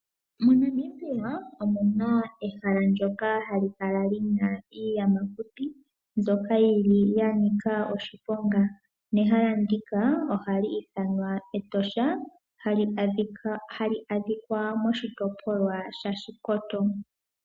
MoNamibia omu na ehala ndyoka hali kala li na iiyamakuti mbyoka ya nika oshiponga nehala ndika ohali ithanwa Etosha hali adhika moshitopolwa shaShikoto.